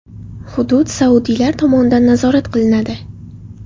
Hudud saudiylar tomonidan nazorat qilinadi.